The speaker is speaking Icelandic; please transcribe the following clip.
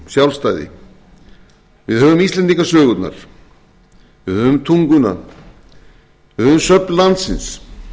sjálfstæði við höfum íslendingasögurnar við höfum tunguna við höfum söfn landsins